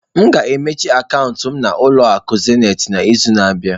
M ga-emechi akaụntụ m na ụlọ akụ zenịtị n'izu na-abịa.